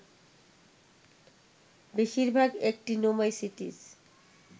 বেশির ভাগ অ্যাকটিনোমাইসিটিস